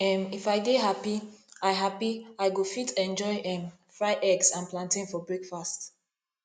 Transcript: um if i dey happy i happy i go fit enjoy um fried eggs and plantain for breakfast